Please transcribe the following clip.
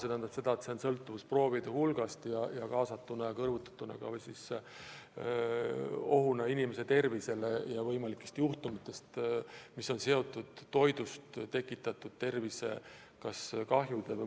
Seega palju sõltub proovide hulgast, mida võetakse, kui tegu on võimaliku ohuga inimeste tervisele.